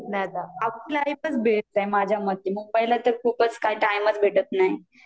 लाईफच best आहे माझ्या मते, मुंबई ला तर खुपचं काय टाईमच भेटत नाही